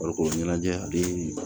Farikolo ɲɛnajɛ a bɛ